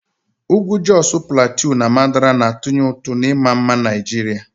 Ugwu Josu Platiu na Mandara na-atụnye ụtụ na ịma mma Naijiria.